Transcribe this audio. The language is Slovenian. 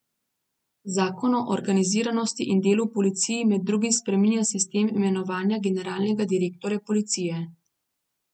Zakon o organiziranosti in delu v policiji med drugim spreminja sistem imenovanja generalnega direktorja policije.